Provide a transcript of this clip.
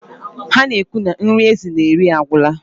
Ha na-ekwu na nri ezi na-eri agwụla.